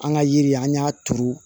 An ka yiri an y'a turu